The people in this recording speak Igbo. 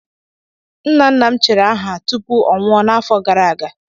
Nna nna m chiri aha tupu ọ nwụọ n'afọ gara aga